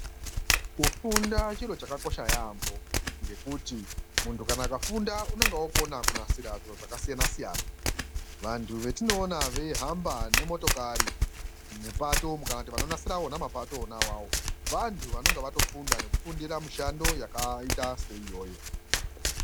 Kufunda chiro chakakosha yaambo ngekuti muntu akafunda unenge okona kunasira zviro zvakasiyana siyana. Vantu vetinoona veihamba ngemotokari mupato umu kana vona vanknasira mapato ona awawo vantu vanenge vatofundira mishando yakaita seiyoyo.